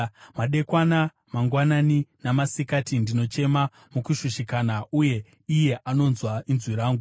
Madekwana, mangwanani namasikati ndinochema mukushushikana, uye iye anonzwa inzwi rangu.